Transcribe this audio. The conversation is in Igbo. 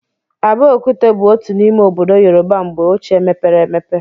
Abeokuta bụ otu n'ime obodo Yorùbá mgbe ọchịe mepere emepe.